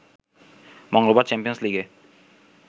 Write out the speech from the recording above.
মঙ্গলবার চ্যাম্পিয়ন্স লিগে